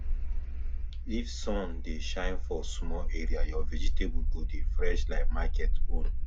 if sun dey shine for small area your vegetable go dey fresh like market own